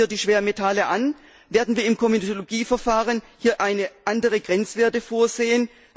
Passen wir die Schwermetalle an, werden wir im Komitologieverfahren hier andere Grenzwerte vorsehen?